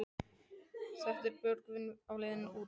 En er Björgvin á leiðinni út?